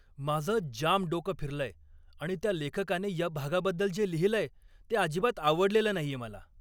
माझं जाम डोकं फिरलंय आणि त्या लेखकाने या भागाबद्दल जे लिहिलंय ते अजिबात आवडलेलं नाहीये मला.